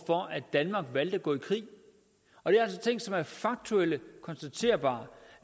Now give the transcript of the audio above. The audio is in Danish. at danmark valgte at gå i krig og det er altså ting som var faktuelt konstaterbare